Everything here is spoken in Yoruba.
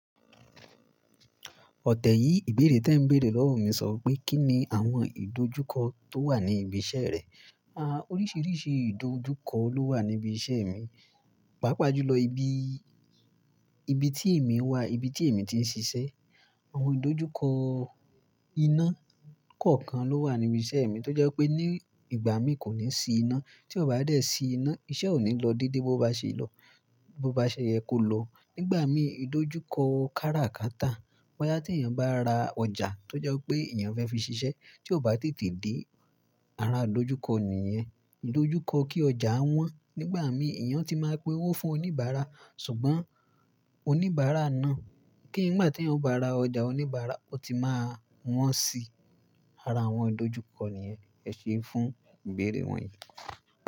Ọ̀tẹ̀ yìí, ìbéèrè tí ẹ ń béèrè lọ́wọ́ mi sọ pé kí ni àwọn ìdojúkọ tó wà ní ibi iṣẹ́ rẹ? A, oríṣiríṣi ìdojúkọ ló wà ní ibi iṣẹ́ mi, pàápàá jùlọ ibi, ibi tí èmi wà, ibi tí èmi ti ń ṣiṣẹ́. Àwọn ìdojúkọ iná kọ̀ọ̀kan ló wà ní ibi iṣẹ́ mi tó jẹ́ pé ní ìgbà mi kò ní sí iná, tí ọ bá dé sí iná, iṣẹ́ ò ní lọ dédé bó bá ṣe lọ, bó bá ṣe yẹ kó lọ. Nígbà mi ìdojúkọ kára ka tà. Bo yá tí èèyàn bá ra ọjà tó jẹ́ pé èèyàn fẹ́ fi ṣiṣẹ́ tí ò bá tètè dé, ara ìdojúkọ nìyẹn. Ìdojúkọ kí ọjà wọ́n. Nígbà mi èèyàn ti máa ń pe owó fún oníbàárà, ṣùgbọ́n oníbàárà náà kí nígbà tí ẹ bá ra ọjà, oníbàárà ó ti máa wọ́n sí ara àwọn ìdojúkọ nìyẹn. Ẹ ṣe é fún ìbéèrè wọ̀nyí.